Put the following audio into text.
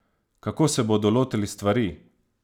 Kako se bodo lotili stvari?